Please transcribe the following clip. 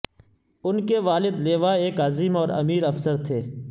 ان کے والد لیوا ایک عظیم اور امیر افسر تھے